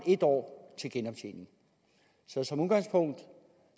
en år til genoptjening som udgangspunkt